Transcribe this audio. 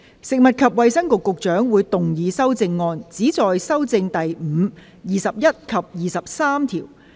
食物及衞生局局長會動議修正案，旨在修正第5、21及23條。